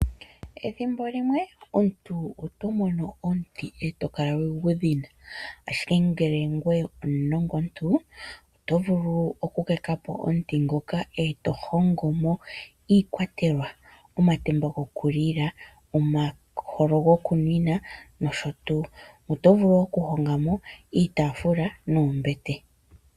Ethimbo limwe omuntu oto mono omutin eto kala wegu dhina, ashike ngele ngoye omunongontu, otovulu oku teta po omuti ngoka eto hongo mo iikwatelwa, omatemba go kulila, omaholo go kunwina, nosho tuu. Otovulu woo oku honga mo iitaafula, noombete.